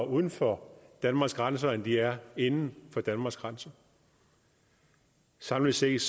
uden for danmarks grænser end de er inden for danmarks grænser samlet set